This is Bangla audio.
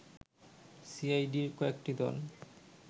সিআইডির কয়েকটি দল